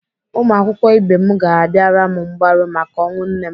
Ụmụakwụkwọ ibe m ga-abịara m mgbaru maka ọnwụ nne m.